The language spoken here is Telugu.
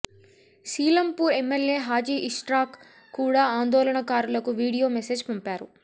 శీలంపూర్ ఎమ్మెల్యే హాజీ ఇష్రాక్ కూడా ఆందోళనకారులకు వీడియో మెసేజ్ పంపారు